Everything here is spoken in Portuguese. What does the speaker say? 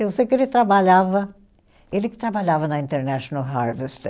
Eu sei que ele trabalhava, ele que trabalhava na International Harvester.